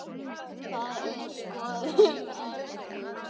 Það er skoðun Eddu.